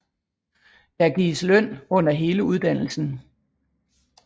Der gives løn under hele uddannelsen